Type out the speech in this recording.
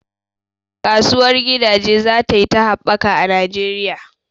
Kasuwar gidaje zatayi ta habbaka a Najeriya